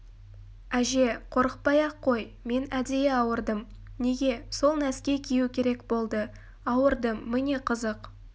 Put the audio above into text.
әже қорықпай-ақ қой мен әдейі ауырдым неге сол нәски кию керек болды ауырдым міне қызық